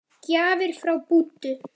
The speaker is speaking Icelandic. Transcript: Gjafir frá Búddu.